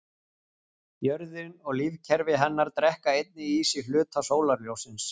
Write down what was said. Jörðin og lífkerfi hennar drekka einnig í sig hluta sólarljóssins.